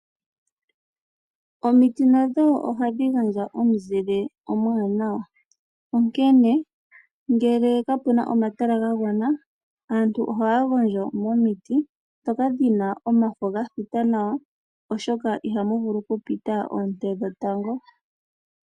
Omiti nadho ohadhi gandja omuzile omuwanwa, onkene ngele kapu na omatala ga gwana aantu ohaya gondjo momiti ndhoka dhi n aomafo ga thita nawa, oshoka ihamu vulu okupita oonte dhetango.